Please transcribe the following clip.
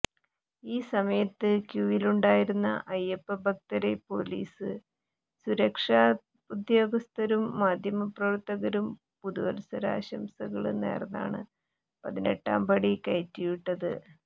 ഈ സമയത്ത് ക്യൂവിലുണ്ടായിരുന്ന അയ്യപ്പഭക്തരെ പോലീസും സുരക്ഷാ ഉദ്യോഗസ്ഥരും മാധ്യമപ്രവര്ത്തകരും പുതുവത്സര ആശംസകള് നേര്ന്നാണ് പതിനെട്ടാം പടി കയറ്റിവിട്ടത്